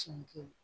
Tiɲɛ kɛ